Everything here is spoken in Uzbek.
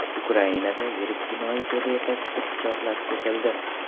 Ukrainada yirik jinoiy to‘da yetakchisi pichoqlab ketildi.